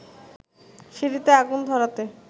সিঁড়িতে আগুন ধরাতে